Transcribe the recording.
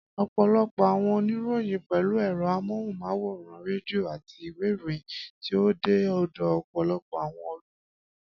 Ọ̀pọ̀lọpọ̀ àwọn oníròyìn pẹ̀lú ẹ̀rọ amóhùnmáwòrán, rédíò, àti ìwé ìròyìn tí ó dé ọ̀dọ̀ ọ̀pọ̀lọpọ̀ àwọn olùwòran.